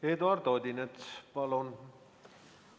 Eduard Odinets, palun!